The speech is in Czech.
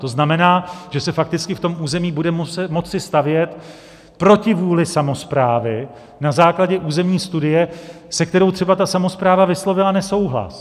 To znamená, že se fakticky v tom území bude moci stavět proti vůli samosprávy na základě územní studie, se kterou třeba ta samospráva vyslovila nesouhlas.